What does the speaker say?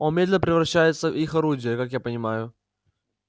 он медленно превращается в их орудие как я понимаю